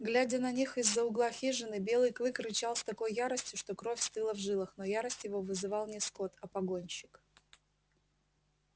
глядя на них из за угла хижины белый клык рычал с такой яростью что кровь стыла в жилах но ярость его вызывал не скотт а погонщик